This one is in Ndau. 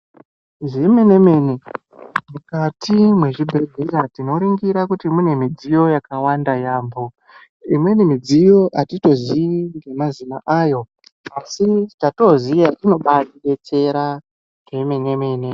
Zvemene mene, mukati mwezvibhedhlera tino ringira kuti mune midziyo yakawanda yaamho. Imweni midziyo atito zii nemazina ayo, asi chatino ziya, inobaa tidetsera zvemene mene.